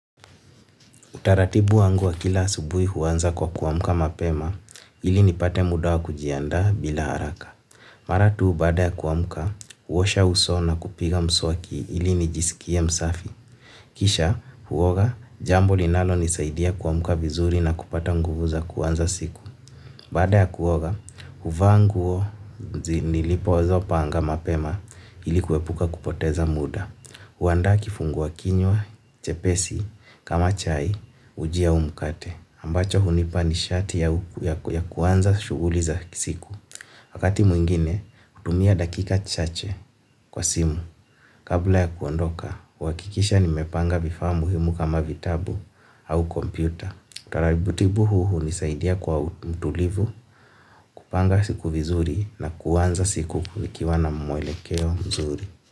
Utaratibu wangu wa kila asubuhi huanza kwa kuamka mapema, ili nipate muda wa kujiandaa bila haraka. Mara tu baada ya kuamka, huosha uso na kupiga mswaki ili nijiskie msafi. Kisha, huoga, jambo linalonisaidia kuamka vizuri na kupata nguvu za kuanza siku. Baada ya kuoga, huvaa nguo nilipozo panga mapema ili kuepuka kupoteza muda. Huandaa kifungua kinywa chepesi, kama chai, uji au mkate, ambacho hunipa nishati ya kuanza shughuli za siku. Wakati mwingine, hutumia dakika chache kwa simu. Kabla ya kuondoka, huhakikisha nimepanga vifaa muhimu kama vitabu au kompyuta. Taratibu huu hunisaidia kwa mtulivu, kupanga siku vizuri na kuanza siku vikiwa na mwelekeo mzuri.